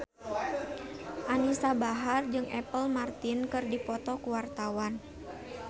Anisa Bahar jeung Apple Martin keur dipoto ku wartawan